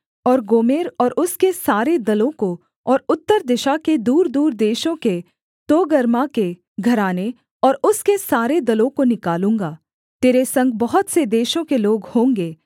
और गोमेर और उसके सारे दलों को और उत्तर दिशा के दूरदूर देशों के तोगर्मा के घराने और उसके सारे दलों को निकालूँगा तेरे संग बहुत से देशों के लोग होंगे